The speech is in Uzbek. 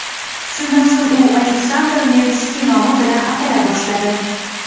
Shundan so‘ng u Aleksandr Nevskiy nomi bilan atala boshladi.